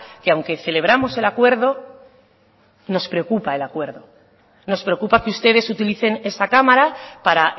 que aunque celebramos el acuerdo nos preocupa el acuerdo nos preocupa que ustedes utilicen esta cámara para